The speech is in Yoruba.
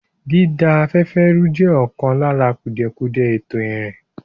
Dída afẹ́fẹ́ rú jẹ́ ọ̀kan lára kùdìẹ̀kudiẹ ètò ìrìn.